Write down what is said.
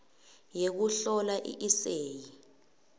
yekuhlola i eseyi